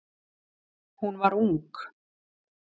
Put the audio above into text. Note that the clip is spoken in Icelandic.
Hún var ung.